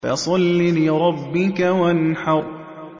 فَصَلِّ لِرَبِّكَ وَانْحَرْ